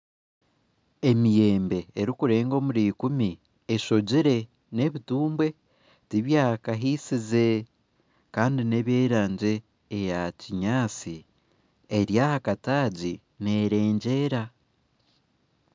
Emiyembe erikurenga omuri ikumi esogire n'ebitumbwe tibyakahisize kandi neby'erangye eya kinyatsi eri aha katagi nerengyera